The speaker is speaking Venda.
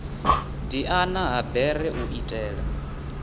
diana ha bere u itela